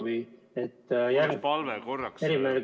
Austatud Aivar Kokk!